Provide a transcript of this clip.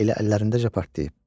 Elə əllərindəcə partlayıb.